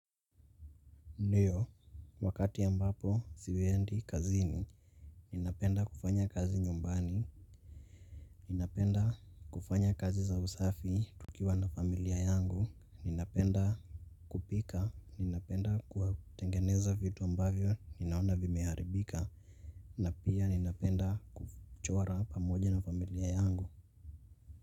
Ndiyo, wakati ambapo siendi kazini, ninapenda kufanya kazi nyumbani, ninapenda kufanya kazi za usafi tukiwa na familia yangu, ninapenda kupika, ninapenda kutengeneza vitu ambavyo ninaona vimeharibika, na pia ninapenda kuchora pamoja na familia yangu.